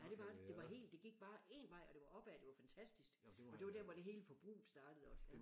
Ja det var det det var helt det gik bare en vej og det var opad og det var fantastisk og det var der hvor det hele forbruget startede også det